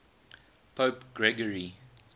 pope gregory